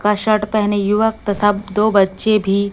का शर्ट पहने युवक तथा दो बच्चे भी--